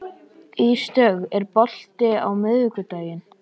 Ísdögg, er bolti á miðvikudaginn?